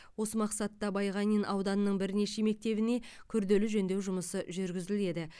осы мақсатта байғанин ауданының бірнеше мектебіне күрделі жөндеу жұмысы жүргізіледі